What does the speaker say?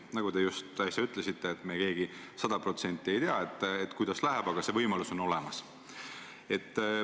Nagu te just äsja ütlesite, me keegi sada protsenti ei tea, kuidas läheb, aga see võimalus on olemas.